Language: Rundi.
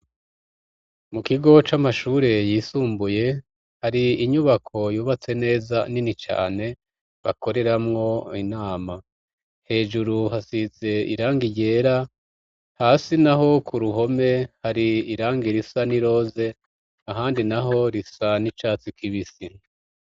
Mu kigo c'amashure, yisumbuye, hari inyubako, yubatse neza, nini cane, bakoreramwo inama; hejuru, hasize irangi ryera, hasi naho, ku ruhome, hari irangi risa n'iroze, ahandi naho, risa n'icatsi kibisi.